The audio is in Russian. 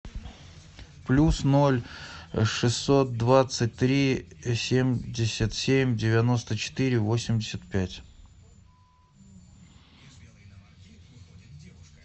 плюс ноль шестьсот двадцать три семьдесят семь девяносто четыре восемьдесят пять